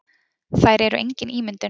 Þær eru engin ímyndun.